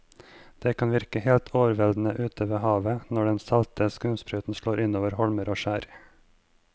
Det kan virke helt overveldende ute ved havet når den salte skumsprøyten slår innover holmer og skjær.